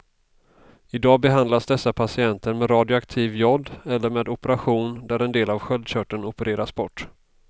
I dag behandlas dessa patienter med radioaktiv jod eller med operation där en del av sköldkörteln opereras bort.